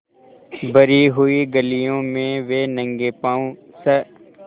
भरी हुई गलियों में वे नंगे पॉँव स्